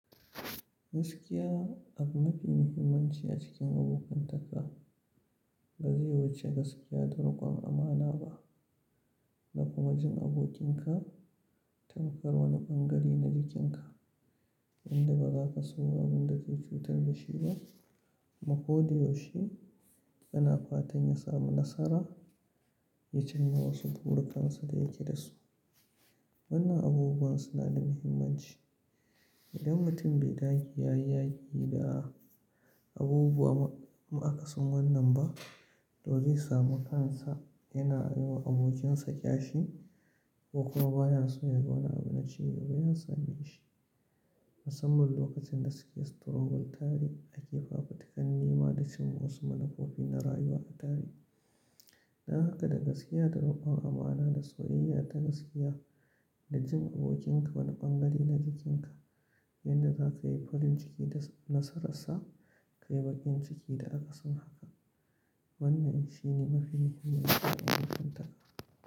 Gaskiya abu mafi muhimmanci a cikin abokantaka ba zai wuce gaskiya da riƙon amana ba. Da kuma jin abokinka tankar wani ɓangare na jikinka inda ba za ka so abin da zai cutar da shi ba, kuma ko da yaushe kana fatan ya samu nasara ya canza wasu burukansa da yake da su. Wannan abubuwan suna da muhimmanci. Idan mutum bai ɗage yayi da abubuwa ma aka son wannan ba, to zai sami kansa yana yiwa abokinsa ƙyashi ko kuma ba ya son ya ga wani abu na cewa bai san shi. Musamman lokacin gaskiyar struggle tarihi ake fafa takalmi ma da cimma wasu manufofi na rayuwa a tarihi. Dan haka da gaskiya, da riƙon amana, da soyayya ta gaskiya, da jin abokinka wani ɓangare na jikinka inda za ka yi farin ciki da nasararsa, ka yi baƙin ciki da akasin haka. Wannan shi ne mafi muhimmanci a cikin abokantaka.